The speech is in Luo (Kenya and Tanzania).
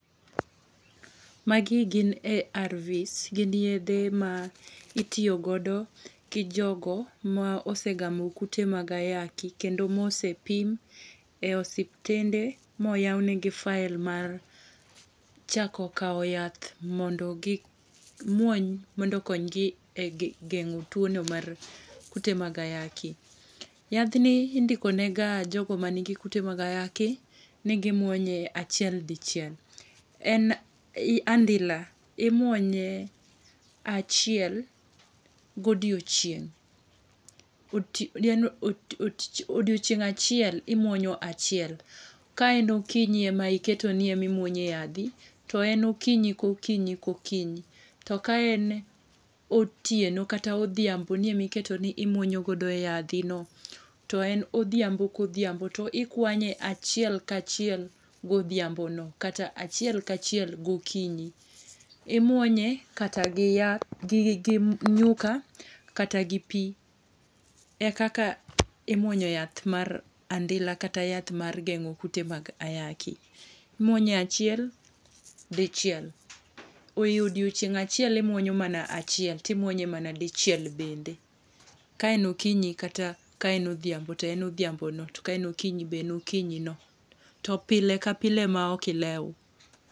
Magi gin ARV. Gin yiedhe ma itiyo godo gi jogo ma osegamo kute mag ayaki, kendo ma osepim e osiptende, ma oyau negi file mar chako kao yath mondo gi muony, mondo okongi e gengó two no mar kute mag ayaki. Yadhni indiko nega jogo ma nigi kute mag ayaki, ni gi mwonye, achiel dichiel. En andila, imwonye achiel godiechieng'. Odiechieng' achiel imwonyo achiel. Ka en okinyi ema iketo ni ema imwonyo e yadhi to en okinyi, kokinyi, kokinyi. To ka en otieno kata odhiambo ni ema iketo ni imwonyo godo yadhino, to en odhiambo, kodhiambo. To ikwanye achiel ka achiel, godhiambo no, kata achiel ka achiel gokinyi. Imwonye kata gi yath, gi, gi nyuka, kata gi pi. E kaka imwonyo yath mar andila, kata yath mar gengó kute mag ayaki. Imwonye achiel, dichiel. Oyudo odiechieng' achiel imwonyo mana achiel, ti mwonye mana dichiel bende. Ka en okinyi, kata ka en odhiambo, to en odhiambo no, to ka en okinyi to en okinyi no. To pile ka pile ma ok ilew.